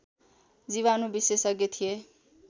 जीवाणु विशेषज्ञ थिए